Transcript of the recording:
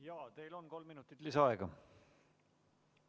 Jaa, teil on kolm minutit lisaaega.